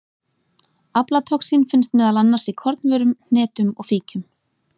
Aflatoxín finnst meðal annars í kornvörum, hnetum og fíkjum.